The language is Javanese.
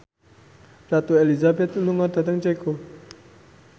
Ratu Elizabeth lunga dhateng Ceko